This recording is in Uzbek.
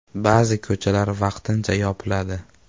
Ba’zi ko‘chalar vaqtincha yopiladi.